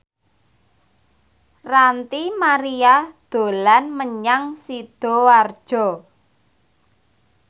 Ranty Maria dolan menyang Sidoarjo